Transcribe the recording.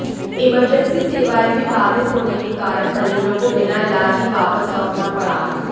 emergency सेवाएं भी बाधित होने के कारण मरीजों को बिना इलाज ही वापस लौटना पड़ा